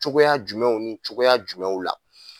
Cogoya jumɛnw ni cogoya jumɛnw la